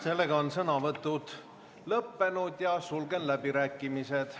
Sellega on sõnavõtud lõppenud ja sulgen läbirääkimised.